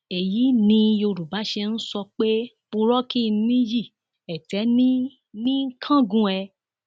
èyí ni yorùbá ṣe ń sọ pé purọ kí n níyì ètè ní í ní í kángun ẹ